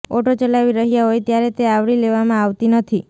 auto ચલાવી રહ્યા હોય ત્યારે તે આવરી લેવામાં આવતી નથી